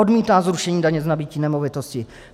Odmítá zrušení daně z nabytí nemovitosti.